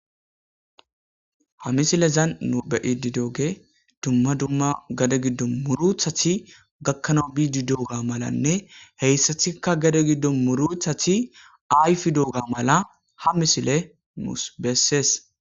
Ha misilezan nu be'iddi doogey dumma dumma gadde giddon murutati gakkana giidi dooga malanne heyssattikka gadde giddo murutatti ayfidooga mala ha misile nuus besees